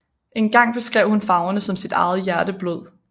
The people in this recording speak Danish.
Engang beskrev hun farverne som sit eget hjerteblod